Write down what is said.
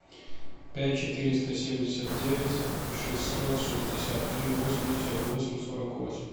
пять четыреста семьдесят девять шестьсот шестьдесят три восемьдесят восемь сорок восемь